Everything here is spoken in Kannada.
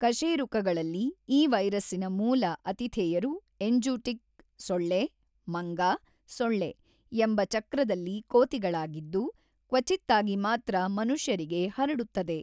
ಕಶೇರುಕಗಳಲ್ಲಿ ಈ ವೈರಸ್ಸಿನ ಮೂಲ ಅತಿಥೇಯರು ಎಂಜೂಟಿಕ್ ಸೊಳ್ಳೆ-ಮಂಗ-ಸೊಳ್ಳೆ ಎಂಬ ಚಕ್ರದಲ್ಲಿ ಕೋತಿಗಳಾಗಿದ್ದು, ಕ್ವಚಿತ್ತಾಗಿ ಮಾತ್ರ ಮನುಷ್ಯರಿಗೆ ಹರಡುತ್ತದೆ.